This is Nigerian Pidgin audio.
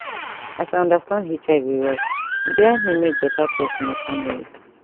as i understand hiv well e dey help me make better choice for my family